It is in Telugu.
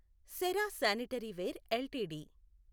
Cera sanitaryware LTD